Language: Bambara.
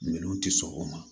Minɛnw tɛ sɔn o ma